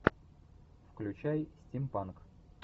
включай стимпанк